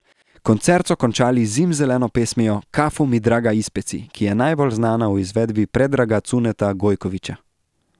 Koncert so končali z zimzeleno pesmijo Kafu mi draga ispeci, ki je najbolj znana v izvedbi Predraga Cuneta Gojkovića.